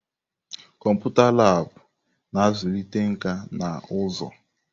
Kọmputa Laabụ̀ na-azụlite nkà na ụzụ.